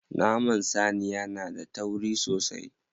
Naman saniya na da tauri sosai.